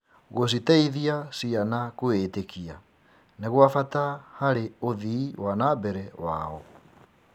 Gũciteithia ciana kwĩĩtĩkia nĩ gwa bata harĩ ũthii wa na mbere wao.